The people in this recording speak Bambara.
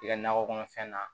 I ka nakɔ kɔnɔfɛn na